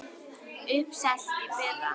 Uppselt í fyrra!